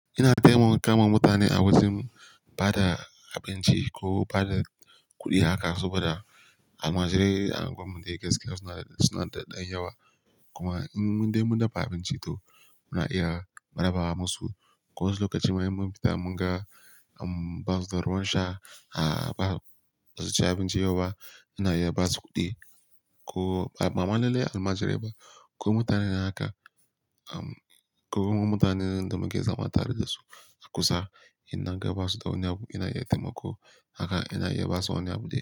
Ina taimaka wa mutane a wajen ba da abinci ko ba da kuɗi haka saboda almajirai a unguwar mun day gaske suna da, suna da ɗan yawa. Kuma in mun dai mun dafa abinci to muna iya rabawa musu. Ko wasu lokaci ma immun fita mun ga, ehm, ba su da ruwan sha a ba su ci abinci yau ba, ina iya ba su kuɗi. Ko ba, ba lalle almajirai ba ko mutane haka, um, ko mutanen da muke zama tare da su a kusa idan an ga ba su da wani abu ina iya taimako haka ina iya ba su wani abu dai.